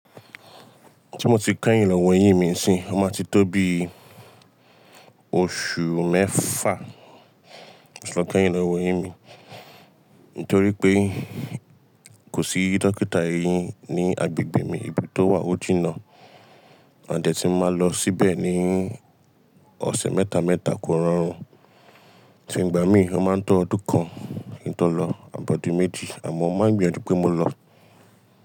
Tí mo ti kẹ́yìn lọ wẹ́yín mi sí, ó máa ti tó bí oṣù mẹ́fà tí mo tí lọ kẹ́yìn lọ wẹ́yín mi. Nítorí pé kò sí dókítà eyín ní agbègbè mi, ibi tó wà ó jìnà. À dẹ̀ tí máa lọ síbẹ̀ ní ọ̀sẹ̀ mẹ́ta mẹ́ta kó rọrùn. So ìgbà mí, ó máa ń tọ́ ọdún kan kí n tó lọ, àbọ̀dun méjì àmọ́ mó máa ń gbìyànjú pé mo lọ.